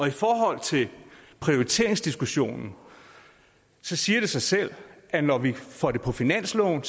i forhold til prioriteringsdiskussionen siger det sig selv at når vi får det på finansloven